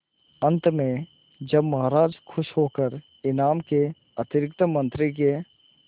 अंत में जब महाराज खुश होकर इनाम के अतिरिक्त मंत्री के